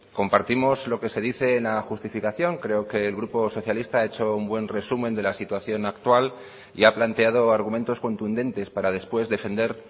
compartimos lo que se dice en la justificación creo que el grupo socialista ha hecho un buen resumen de la situación actual y ha planteado argumentos contundentes para después defender